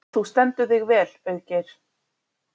Þú stendur þig vel, Auðgeir!